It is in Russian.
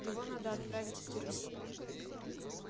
его надо отправить в тюрьму